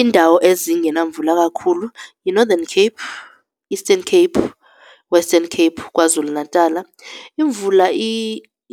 Iindawo ezingena mvula kakhulu yiNorthern Cape, Eastern Cape, Western Cape, KwaZulu-Natala. Imvula